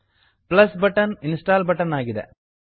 plus button plus button install button ಆಗಿದೆ